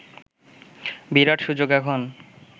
বিরাট সুযোগ এখন